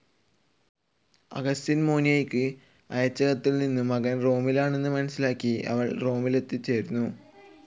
Augustine മോനിക്കയ്ക്ക് അയച്ചകത്തിൽ നിന്നും മകൻ റോമിലാണെന്ന് മനസ്സിലാക്കി അവൾ റോമിൽ എത്തിച്ചേർന്നു.